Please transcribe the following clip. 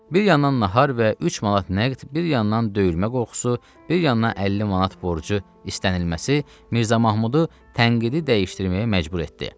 Bir yandan nahar və 3 manat nəqd, bir yandan döyülmə qorxusu, bir yandan 50 manat borcu istənilməsi Mirzə Mahmudu tənqidi dəyişdirməyə məcbur etdi.